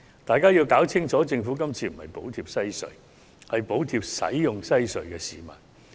大家必須弄清楚，政府今次不是補貼西隧，而是補貼使用西隧的市民。